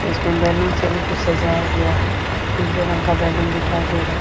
इसमें बैलून से भी कुछ सजाया गया है पीले रंग का बैलून दिखाई दे रहा।